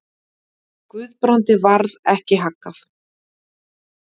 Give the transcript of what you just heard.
Guðbrandi varð ekki haggað.